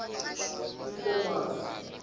enkomazi